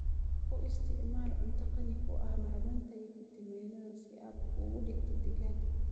U isticmaal cunto qani ku ah macdanta iyo fiitamiinnada si aad u dhigto digaagga.